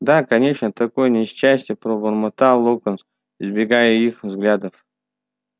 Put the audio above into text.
да конечно такое несчастье пробормотал локонс избегая их взглядов